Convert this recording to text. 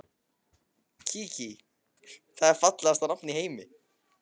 Kiki, það er fallegasta nafn í heimi.